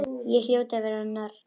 Ég hljóti að vera norn.